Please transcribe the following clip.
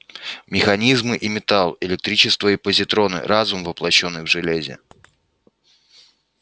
механизмы и металл электричество и позитроны разум воплощённый в железе